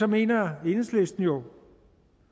mener enhedslisten jo